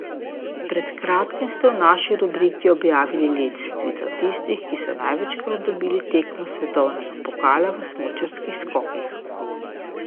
Pred kratkim ste v vaši rubriki objavili lestvico tistih, ki so največkrat dobili tekmo svetovnega pokala v smučarskih skokih.